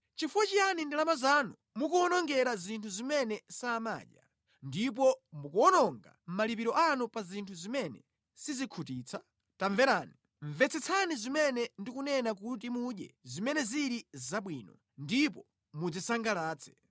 Chifukwa chiyani ndalama zanu mukuwonongera zinthu zimene samadya, ndipo mukuwononga malipiro anu pa zinthu zimene sizikhutitsa? Tamverani, mvetsetsani zimene ndikunena kuti mudye zimene zili zabwino; ndipo mudzisangalatse.